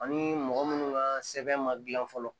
Ani mɔgɔ munnu ka sɛbɛn ma gilan fɔlɔ